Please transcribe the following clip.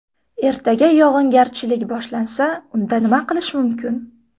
Ertaga yog‘ingarchilik boshlansa, unda nima qilish mumkin?